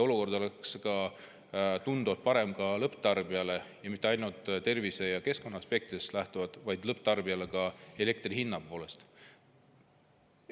Olukord oleks ka lõpptarbijale tunduvalt parem, ja mitte ainult tervise‑ ja keskkonnaaspektist lähtuvalt, vaid see oleks lõpptarbijale teine ka elektri hinna poolest.